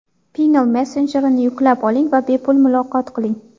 Pinngle messenjerini yuklab oling va bepul muloqot qiling!.